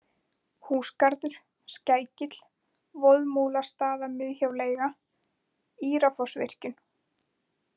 Húsgarður, Skækill, Voðmúlastaðamiðhjáleiga, Írafossvirkjun